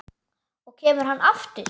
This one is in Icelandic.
Og kemur hann aftur?